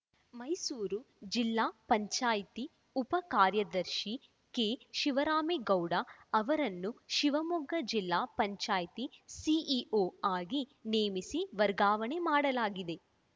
ಮೈಸೂರು ಜಿಲ್ಲಾ ಪಂಚಾಯ್ತಿ ಉಪ ಕಾರ್ಯದರ್ಶಿ ಕೆ ಶಿವರಾಮೇಗೌಡ ಅವರನ್ನು ಶಿವಮೊಗ್ಗ ಜಿಲ್ಲಾ ಪಂಚಾಯ್ತಿ ಸಿಇಒ ಆಗಿ ನೇಮಿಸಿ ವರ್ಗಾವಣೆ ಮಾಡಲಾಗಿದೆ